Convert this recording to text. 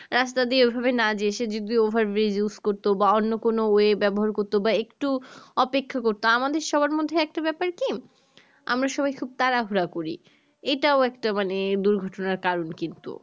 রাস্তা দিয়ে ও ভাবে না যেয়ে সে যদি over bridge use করতো বা অন্য কোনো way ব্যবহার করতো বা একটু অপেক্ষা করতো আমাদের সবার মধ্যে একটা ব্যাপার কি আমরা সবাই খুব তারা হুরা করি এটাই একটা মানে দুঘটনার কারণ কিন্তু